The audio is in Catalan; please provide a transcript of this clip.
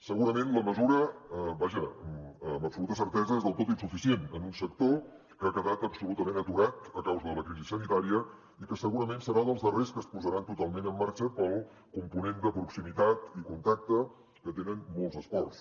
segurament la mesura vaja amb absoluta certesa és del tot insuficient en un sector que ha quedat absolutament aturat a causa de la crisi sanitària i que segurament serà dels darrers que es posaran totalment en marxa pel component de proximitat i contacte que tenen molts esports